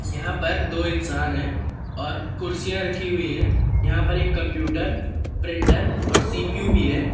यहां पर दो इंसान है और कुर्सियां रखी हुई है यहां पर एक कंप्यूटर प्रिंटर और सी_पी_यू भी है।